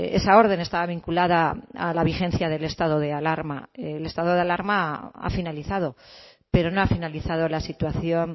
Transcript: esa orden estaba vinculada a la vigencia del estado de alarma el estado de alarma ha finalizado pero no ha finalizado la situación